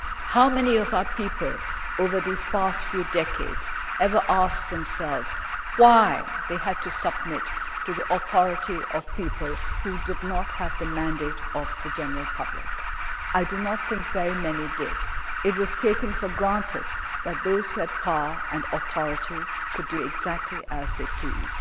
How many of our people over these past few decades ever asked themselves why they had to submit to the authority of people who did not have the mandate of the general public? I do not think very many did. It was taken for granted that those who had power and authority could do exactly as they pleased.